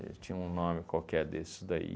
tinha um nome qualquer desses daí.